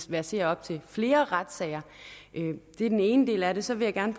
verserer op til flere retssager det er den ene del af det så vil jeg gerne